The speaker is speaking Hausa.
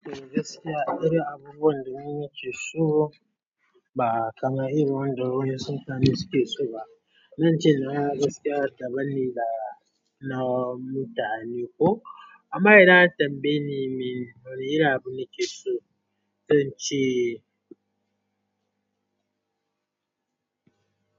Gaskiya, akwai abubuwan da mun yi kitso ba kamar irin wanda wani Musulmi suke so ba. Nanci na gaskiya daban ne da na mutane ko. Amma idan an tambaye ni mene irin abu nake so, zan ce.